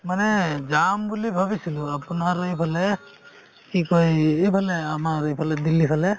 মানে যাম বুলি ভাবিছিলো আপোনাৰ এইফালে কি কই এই~ এইফালে আমাৰ এইফালে দিল্লীৰ ফালে